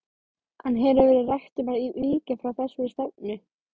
En hefur verið rætt um að víkja frá þessari stefnu?